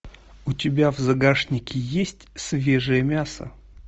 у тебя в загашнике есть свежее мясо